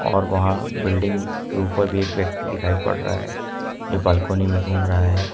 और वहां बिल्डिंग के ऊपर भी एक व्यक्ति दिखाई पड़ रहा है जो बालकनी में घूम रहा है।